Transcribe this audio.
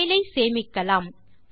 கோப்பை சேமிக்கலாம்